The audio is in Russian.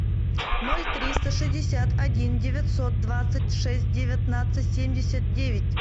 ноль триста шестьдесят один девятьсот двадцать шесть девятнадцать семьдесят девять